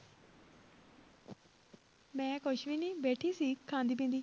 ਮੈਂ ਕੁਛ ਵੀ ਨੀ ਬੈਠੀ ਸੀ, ਖਾਂਦੀ ਪੀਂਦੀ।